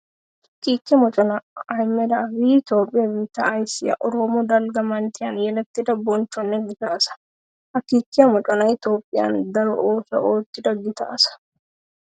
Kiike moccona Ahimeda Abiy Toophphiya biitta ayssiya oroomo dalgga manttiyan yeletidda bonchchonne gita asaa. Ha kiike mocconay Toophphiyawu daro oosuwa ootidda gita asaa.